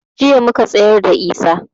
Jiya muka tsayarda da Isah